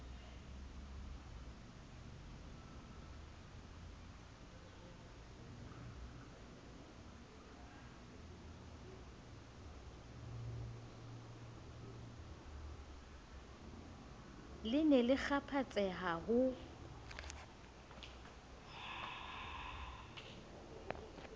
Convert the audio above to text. le ne le kgaphatseha ho